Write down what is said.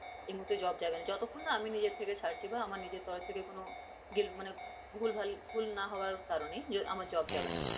এই মুহূর্তে job যাবে না, যতক্ষণ না আমি নিজের থেকে ছাড়ছি বা আমার নিজের তরফ থেকে কোন মানে ভুলভাল ভুল না হওয়ার কারনে আমার job যাবে না